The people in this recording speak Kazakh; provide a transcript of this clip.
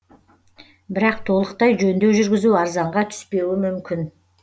бірақ толықтай жөндеу жүргізу арзанға түспеуі мүмкін